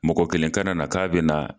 Mɔgɔ kelen kana na k'a bɛ na